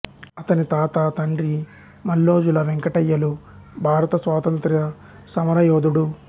అతని తాత తండ్రి మల్లోజుల వెంకటయ్య లు భారత స్వాతంత్ర్యసమరయోధుడు